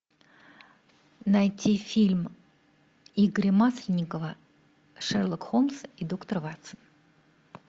найти фильм игоря масленникова шерлок холмс и доктор ватсон